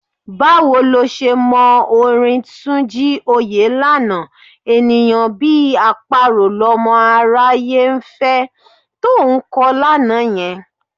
Báwo lo ṣe mọ orin Túnjí Òyélànà: "... ènìyàn bí àparò lọmọ aráyé ń fẹ...", to ń kọ lánàá yẹn?